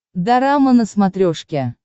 дорама на смотрешке